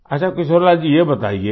अच्छा किशोरीलाल जी ये बताइये